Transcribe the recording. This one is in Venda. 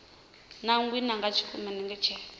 nangiwa nga tshikimu u ṋetshedza